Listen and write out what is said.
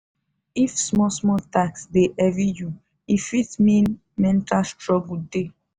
if small small task dey heavy you e fit mean mental struggle dey.